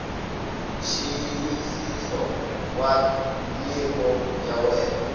nxiyisiso wa nyiko ya wena